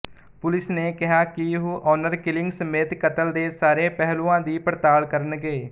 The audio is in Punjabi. ਪੁਲਿਸ ਨੇ ਕਿਹਾ ਕਿ ਉਹ ਆਨਰ ਕਿਲਿੰਗ ਸਮੇਤ ਕਤਲ ਦੇ ਸਾਰੇ ਪਹਿਲੂਆਂ ਦੀ ਪੜਤਾਲ ਕਰਨਗੇ